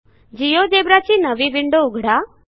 GeoGebra ची नवी window उघडा